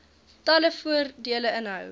talle voordele inhou